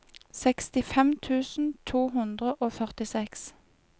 sekstifem tusen to hundre og førtiseks